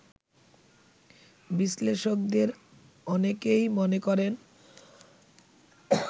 বিশ্লেষকদের অনেকেই মনে করেন